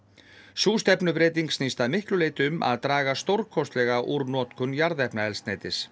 sú stefnubreyting snýst að miklu leyti um að draga stórkostlega úr notkun jarðefnaeldsneytis